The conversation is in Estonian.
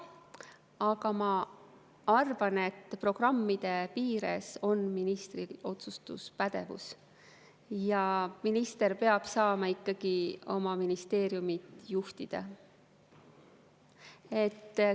Aga ma arvan, et programmide piires on ministril otsustuspädevus ja minister peab saama ikkagi oma ministeeriumi juhtida.